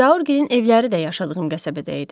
Zaurgilin evləri də yaşadığım qəsəbədə idi.